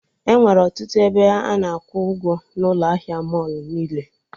Enwere ọtụtụ ebe ana akwụ ụgwọ n'ụlọ ahịa mọlụ niile